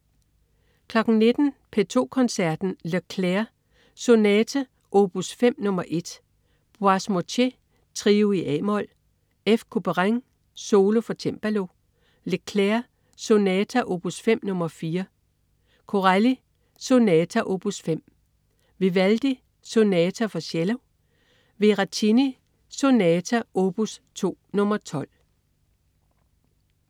19.00 P2 Koncerten. Leclair: Sonata op. 5 no. 1. Boismortier: Trio i a-mol. F. Couperin: Solo for cembalo. Leclair: Sonata op. 5 no. 4. Corelli: Sonata op.5. Vivaldi: Sonata for cello. Veracini: Sonata op. 2 no. 12